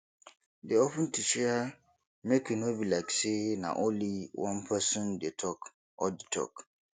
dey open to share make e no be like sey na only one person dey talk all di talk